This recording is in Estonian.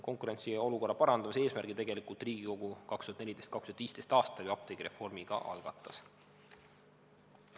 Konkurentsiolukorra parandamise eesmärgil tegelikult Riigikogu 2014.–2015. aastal ju apteegireformi ka algatas.